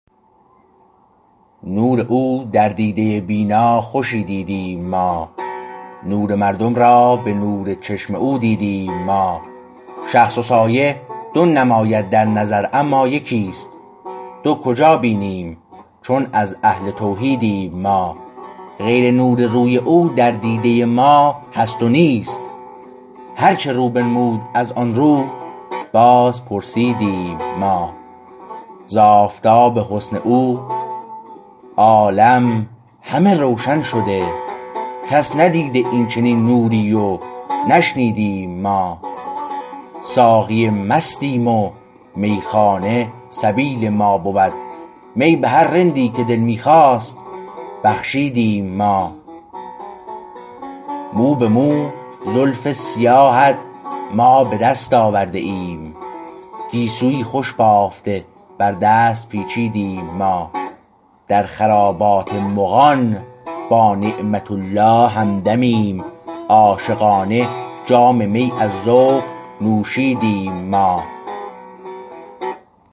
نور او در دیده بینا خوشی دیدیم ما نور مردم را به نور چشم او دیدیم ما شخص و سایه دو نماید در نظر اما یکیست دو کجا بینیم چون از اهل توحیدیم ما غیر نور روی او در دیده ما هست نیست هرچه رو بنمود از آن رو بازپرسیدیم ما ز آفتاب حسن او عالم همه روشن شده کس ندیده این چنین نوری و نشنیدیم ما ساقی مستیم و میخانه سبیل ما بود می به هر رندی که دل می خواست بخشیدیم ما مو به مو زلف سیاهت ما به دست آورده ایم گیسویی خوش بافته بر دست پیچیدیم ما در خرابات مغان با نعمت الله همدمیم عاشقانه جام می از ذوق نوشیدیم ما